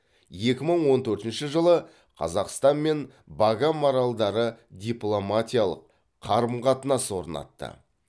екі мың он төртінші жылы қазақстан мен багам аралдары дипломатиялық қарым қатынас орнатты